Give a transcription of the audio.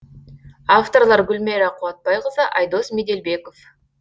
авторлар гүлмайра қуатбайқызы айдос меделбеков